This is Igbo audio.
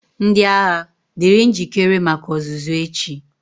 Ndị agha, dịrị njikere maka ọzụzụ echi!